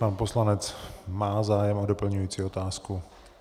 Pan poslanec má zájem o doplňující otázku.